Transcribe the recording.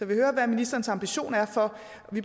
vil høre hvad ministerens ambition er for